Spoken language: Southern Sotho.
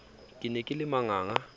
ke ne ke le manganga